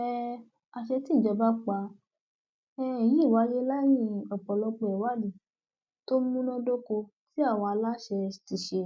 um àṣẹ tí ìjọba pa um yìí wáyé lẹyìn ọpọlọpọ ìwádìí tó múnádóko tí àwọn aláṣẹ ti ṣe